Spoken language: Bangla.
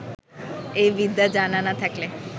এ বিদ্যা জানা না থাকলে